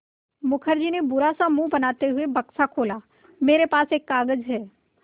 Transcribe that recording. मुखर्जी ने बुरा सा मुँह बनाते हुए बक्सा खोला मेरे पास एक कागज़ है